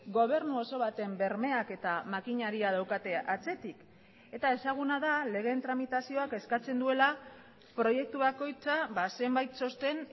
gobernu oso baten bermeak eta makinaria daukate atzetik eta ezaguna da legeen tramitazioak eskatzen duela proiektu bakoitza zenbait txosten